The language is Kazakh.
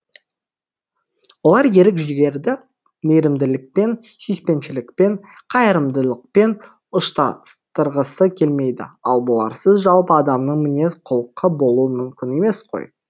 олар ерік жігерді мейірімділікпен сүйіспеншілікпен қайырымдылықпен ұштастырғысы келмейді ал бұларсыз жалпы адамның мінез құлқы болуы мүмкін емес қой